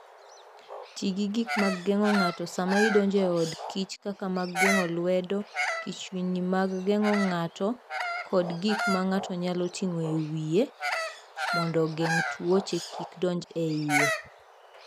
Ti gi gik mag geng'o ng'ato sama idonjo e od kich kaka mag geng'o lwedo, kichwni mag geng'o ng'ato, kod gik ma ng'ato nyalo ting'o e wiye mondo ogeng' tuoche kik donj e iye.